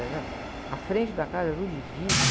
A frente da casa, era tudo de vidro.